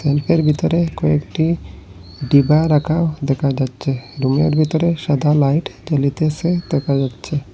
রুমটির ভেতরে কয়েকটি ডিবা রাকা দেখা যাচ্ছে রুমের ভেতরে সাদা লাইট জ্বলিতেসে দেখা যাচ্ছে।